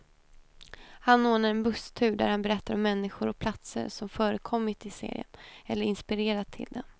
Han ordnar en busstur där han berättar om människor och platser som förekommit i serien, eller inspirerat till den.